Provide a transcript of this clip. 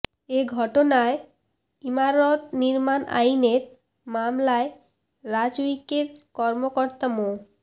এ ঘটনায় ইমারত নির্মাণ আইনের মামলায় রাজউকের কর্মকর্তা মো